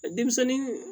Denmisɛnnin